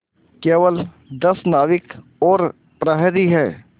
केवल दस नाविक और प्रहरी है